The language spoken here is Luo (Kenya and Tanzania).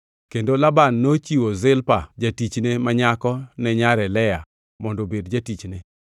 Kendo Laban nochiwo Zilpa jatichne ma nyako ne nyare, Lea, mondo obed jatichne.